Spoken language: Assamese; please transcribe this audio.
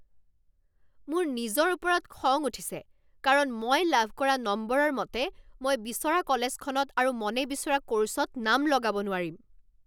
মোৰ নিজৰ ওপৰত খং উঠিছে কাৰণ মই লাভ কৰা নম্বৰৰ মতে মই বিচৰা কলেজখনত আৰু মনে বিচৰা ক'ৰ্ছত নাম লগাব নোৱাৰিম৷